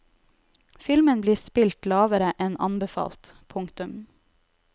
Filmen blir spilt lavere enn anbefalt. punktum